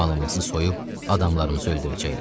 Malımızı soyub, adamlarımızı öldürəcəklər.